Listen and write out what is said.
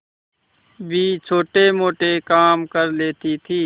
भी छोटेमोटे काम कर लेती थी